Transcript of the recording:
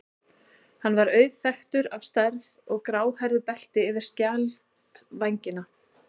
Hann er auðþekktur á stærð og gráhærðu belti yfir skjaldvængina.